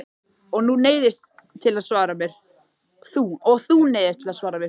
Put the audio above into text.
Og þú neyðist til að svara mér.